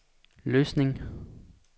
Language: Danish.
Løsning